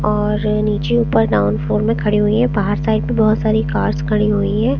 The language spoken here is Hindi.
और नीचे ऊपर ग्राउंड फ्लोर में खड़ी हुई है बाहर साइड में बहोत सारी कार्स खड़ी हुई हैं।